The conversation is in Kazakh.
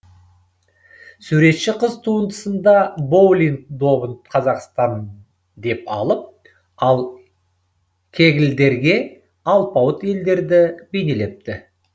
суретші қыз туындысында боулинг добын қазақстан деп алып ал кеглдерге алпауыт елдерді бейнелепті